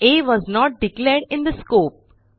a was not declared in the scope